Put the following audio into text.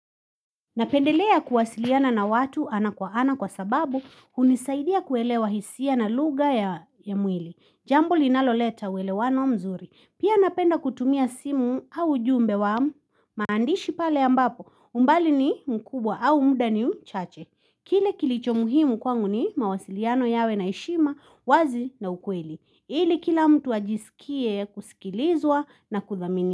Napendelea kuwasiliana na watu ana kwa ana kwa sababu hunisaidia kuelewa hisia na lugha ya mwili. Jambo linaloleta uelewano mzuri. Pia napenda kutumia simu au ujumbe wa maandishi pale ambapo umbali ni mkubwa au muda ni mchache. Kile kilicho muhimu kwangu ni mawasiliano yawe na heshima wazi na ukweli. Ili kila mtu ajisikie kusikilizwa na kuthamini.